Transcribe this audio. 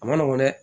A ma nɔgɔn dɛ